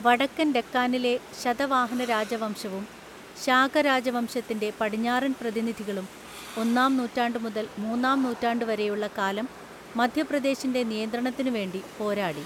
വടക്കൻ ഡെക്കാനിലെ ശതവാഹനരാജവംശവും ശാകരാജവംശത്തിൻ്റെ പടിഞ്ഞാറൻപ്രതിനിധികളും, ഒന്നാംനൂറ്റാണ്ടുമുതൽ മൂന്നാംനൂറ്റാണ്ടുവരെയുള്ള കാലം മധ്യപ്രദേശിൻ്റെ നിയന്ത്രണത്തിനുവേണ്ടി പോരാടി.